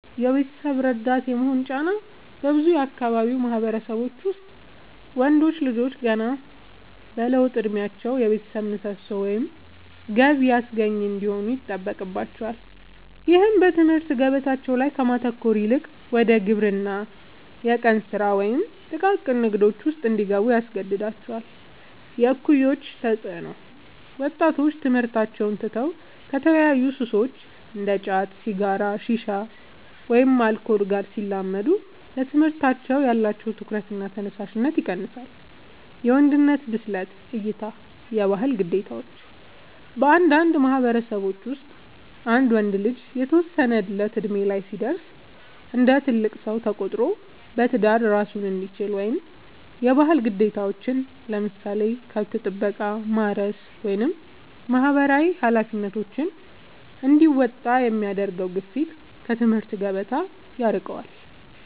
የቤተሰብ ረዳት የመሆን ጫና፦ በብዙ የአካባቢው ማህበረሰቦች ውስጥ ወንዶች ልጆች ገና በለውጥ እድሜያቸው የቤተሰብ ምሰሶ ወይም ገቢ አስገኚ እንዲሆኑ ይጠበቅባቸዋል። ይህም በትምህርት ገበታቸው ላይ ከማተኮር ይልቅ ወደ ግብርና፣ የቀን ስራ ወይም ጥቃቅን ንግዶች ውስጥ እንዲገቡ ያስገድዳቸዋል። የእኩዮች ተፅዕኖ፦ ወጣቶች ትምህርታቸውን ትተው ከተለያዩ ሱሶች (እንደ ጫት፣ ሲጋራ፣ ሺሻ ወይም አልኮል) ጋር ሲላመዱ ለትምህርታቸው ያላቸው ትኩረትና ተነሳሽነት ይቀንሳል። የወንድነት ብስለት እይታ (የባህል ግዴታዎች)፦ በአንዳንድ ማህበረሰቦች ውስጥ አንድ ወንድ ልጅ የተወሰነ እድሜ ላይ ሲደርስ እንደ ትልቅ ሰው ተቆጥሮ በትዳር እራሱን እንዲችል ወይም የባህል ግዴታዎችን (ለምሳሌ ከብት ጥበቃ፣ ማረስ ወይም ማህበራዊ ኃላፊነቶች) እንዲወጣ የሚደረገው ግፊት ከትምህርት ገበታ ያርቀዋል።